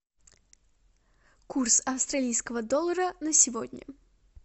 курс австралийского доллара на сегодня